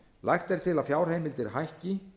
lagt er til að fjárheimildir hækki